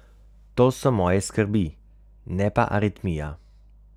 To so moje skrbi, ne pa aritmija.